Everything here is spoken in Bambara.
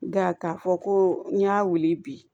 Nka k'a fɔ ko n y'a wuli bi